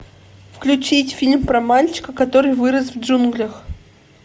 включить фильм про мальчика который вырос в джунглях